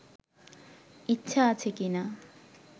ইচ্ছা আছে কি না